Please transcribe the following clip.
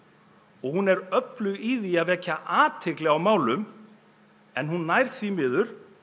og hún er öflug í því að vekja athygli á þessum málum en hún nær því miður